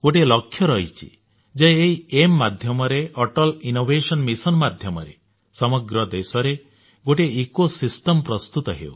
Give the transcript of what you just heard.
ଗୋଟିଏ ଲକ୍ଷ୍ୟ ରହିଛି ଯେ ଏହି ଏଆଇଏମ୍ ମାଧ୍ୟମରେ ଅଟଲ ଇନୋଭେସନ ମିଶନ ମାଧ୍ୟମରେ ସମଗ୍ର ଦେଶରେ ଗୋଟିଏ ଇକୋସିଷ୍ଟମ୍ ପ୍ରସ୍ତୁତ ହେଉ